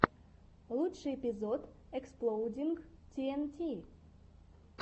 лучший эпизод эксплоудинг ти эн ти